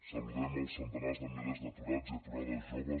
saludem els centenars de milers d’aturats i aturades joves